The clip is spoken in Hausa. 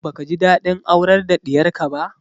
Shin baka ji daɗin aurar da diyarka ba?